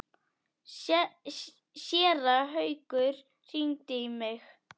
Séra Haukur hringdi í mig.